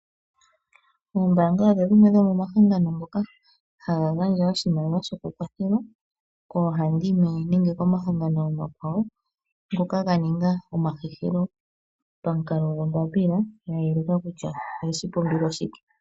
Oombaanga odho dhimwe dhomomahangano ngoka haga gandja oshimaliwa shopakwathelo, koohandimwe, nenge komahangano omakwawo , ngoka ga ninga omahehelo pamukalo gwombapila ya yeleka kutya oye shi pumbilwa shike.